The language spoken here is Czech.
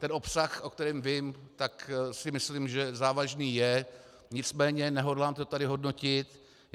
Ten obsah, o kterém vím, tak si myslím, že závažný je, nicméně nehodlám to tady hodnotit.